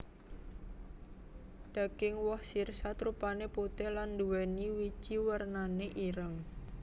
Daging woh sirsat rupané putih lan nduwéni wiji wernané ireng